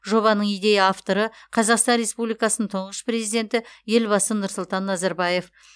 жобаның идея авторы қазақстан республикасының тұңғыш президенті елбасы нұрсұлтан назарбаев